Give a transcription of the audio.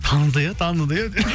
таныды иә таныды иә деп